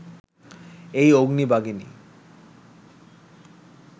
এই অগ্নি-বাগিনী